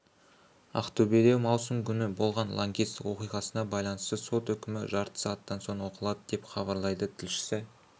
ақтөбеде маусым күні болған лаңкестік оқиғасына байланысты сот үкімі жарты сағаттан соң оқылады деп хабарлайды тілшісі